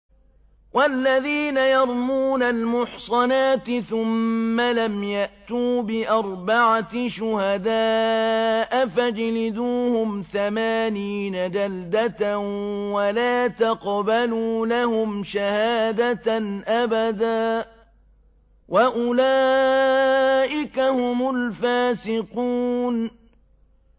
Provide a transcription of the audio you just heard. وَالَّذِينَ يَرْمُونَ الْمُحْصَنَاتِ ثُمَّ لَمْ يَأْتُوا بِأَرْبَعَةِ شُهَدَاءَ فَاجْلِدُوهُمْ ثَمَانِينَ جَلْدَةً وَلَا تَقْبَلُوا لَهُمْ شَهَادَةً أَبَدًا ۚ وَأُولَٰئِكَ هُمُ الْفَاسِقُونَ